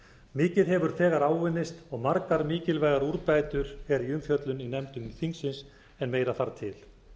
mikið hefur þegar áunnist og margar mikilvægar úrbætur eru í umfjöllun í nefndum þingsins en meira þarf til